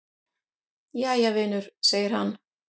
"""Jæja, vinur segir hann."""